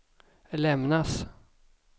lämnas